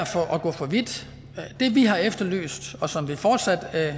at gå for vidt det vi har efterlyst og som vi fortsat